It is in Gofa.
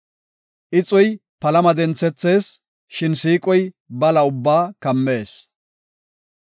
Ixoy palama denthethees; shin siiqoy bala ubbaa kammees.